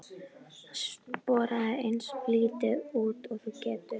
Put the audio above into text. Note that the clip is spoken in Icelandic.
Sporaðu eins lítið út og þú getur.